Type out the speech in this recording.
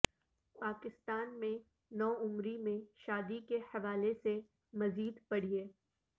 پاکستان میں نو عمری میں شادی کے حوالے سے مزید پڑھیے